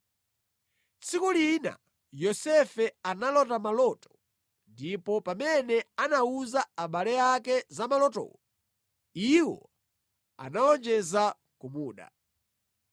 Tsiku lina Yosefe analota maloto ndipo pamene anawuza abale ake za malotowo, iwo anawonjeza kumuda.